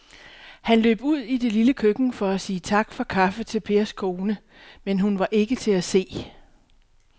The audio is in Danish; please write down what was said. Han løb ud i det lille køkken for at sige tak for kaffe til Pers kone, men hun var ikke til at se.